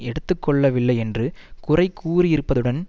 எடுத்து கொள்ளவில்லை என்று குறை கூறியிருப்பதுடன்